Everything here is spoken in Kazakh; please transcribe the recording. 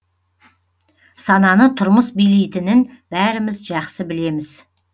сананы тұрмыс билейтінін бәріміз жақсы білеміз